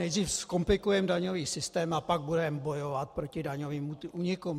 Nejdříve zkomplikujeme daňový systém, a pak budeme bojovat proti daňovým únikům.